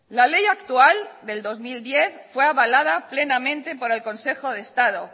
la ley actual del dos mil diez fue avalada plenamente por el consejo de estado